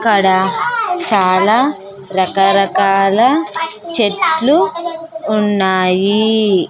ఇక్కడ చాలా రకరకాల చెట్లు ఉన్నాయి.